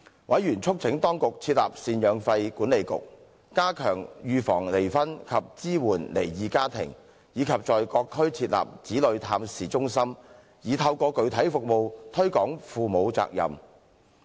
委員促請當局設立贍養費管理局、加強預防離婚及支援離異家庭，以及在各區設立子女探視中心，以透過具體服務推廣父母責任。